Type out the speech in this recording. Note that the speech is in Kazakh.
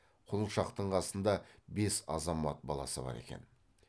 құлыншақтың қасында бес азамат баласы бар екен